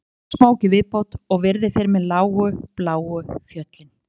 Ég tek einn smók í viðbót og virði fyrir mér lágu bláu fjöll